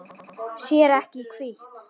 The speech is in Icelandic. Sér ekki í hvítt.